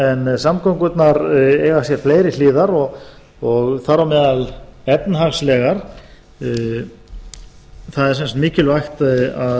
en samgöngurnar eiga sér fleiri hliðar og þar á meðal efnahagslegar það er sem sagt mikilvægt að